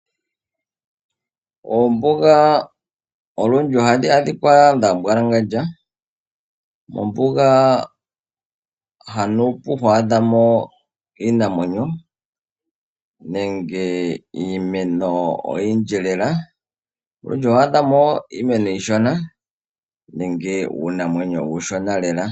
Ombuga olundji ohadhi adhikwa dha mbwalangandja, mombuga haanu pu to adha mo iinamwenyo nenge iimeno oyindji lela, olundji oho adha mo iimeno iishona nenge uunamwenyo uushona lela.